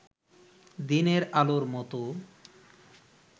দিনের আলোর মতো